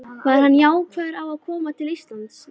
Var hann jákvæður á að koma til Íslands?